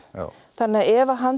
þannig að ef hann